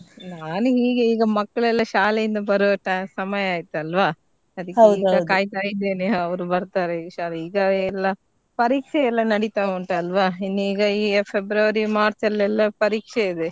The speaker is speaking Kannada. ನಾನ್ ಹೀಗೆ ಈಗ ಮಕ್ಳ್ಲೆಲ್ಲಾ ಶಾಲೆಯಿಂದ ಬರುವ ಟ~ ಸಮಯ ಆಯ್ತಲ್ವಾ ಅದ್ಕೇ ಈಗ ಕಾಯಿತಾ ಇದ್ದೆನೆ ಅವ್ರ ಬರ್ತಾರೆ ಈಗ ಶಾ~ ಈಗಾ ಎಲ್ಲಾ ಪರೀಕ್ಷೆ ಎಲ್ಲ ನಡೀತಾ ಉಂಟಲ್ವಾ ಇನ್ ಈಗ ಈ February, March ಅಲ್ಲಿ ಎಲ್ಲ ಪರೀಕ್ಷೆ ಇದೆ.